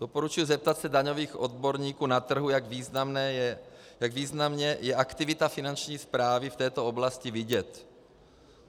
Doporučuji zeptat se daňových odborníků na trhu, jak významně je aktivita Finanční správy v této oblasti vidět.